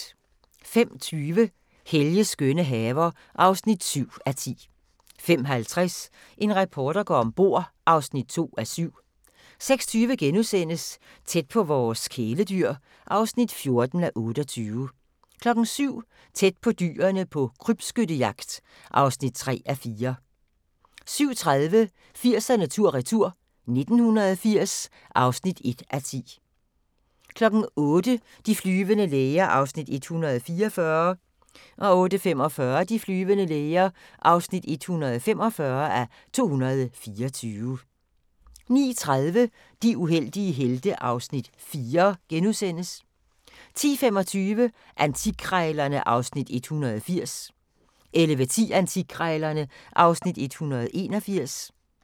05:20: Helges skønne haver (7:10) 05:50: En reporter går om bord (2:7) 06:20: Tæt på vores kæledyr (14:28)* 07:00: Tæt på dyrene på krybskyttejagt (3:4) 07:30: 80'erne tur-retur: 1980 (1:10) 08:00: De flyvende læger (144:224) 08:45: De flyvende læger (145:224) 09:30: De uheldige helte (Afs. 4)* 10:25: Antikkrejlerne (Afs. 180) 11:10: Antikkrejlerne (Afs. 181)